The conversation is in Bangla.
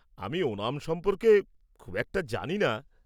আমি ওনাম সম্পর্কে খুব একটা জানিনা।